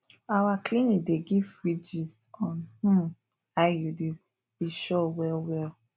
our clinic dey give free gist on um iuds e sure well well